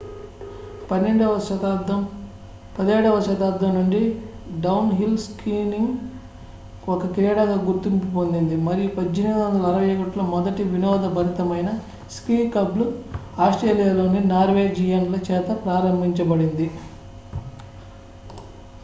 17వ శతాబ్దం నుండి downhill skiing ఒక క్రీడగా గుర్తింపు పొందింది మరియు 1861లో మొదటి వినోదభరితమైన స్కీ క్లబ్ ఆస్ట్రేలియాలోని నార్వేజియన్ల చేత ప్రారంభించబడింది